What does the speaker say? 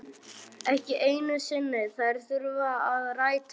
Ekki einu sinni þær þurfa að rætast.